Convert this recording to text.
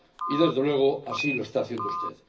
Y, desde luego, así lo está haciendo usted.